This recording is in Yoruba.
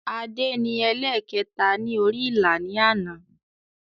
Adé ni ẹlẹ̀kẹta ni orí ìlà ni àná